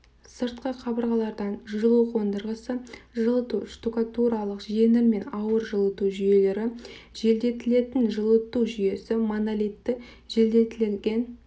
сыртқы қабырғалардан жылу қондырғысы жылыту штукатуралық жеңіл мен ауыр жылыту жүйелері желдетілетін жылыту жүйесі монолитті желдетілген